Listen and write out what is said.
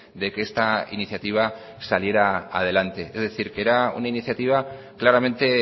de que esta iniciativa saliera adelante es decir que era una iniciativa claramente